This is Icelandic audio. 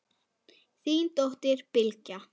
Þín dóttir, Bylgja.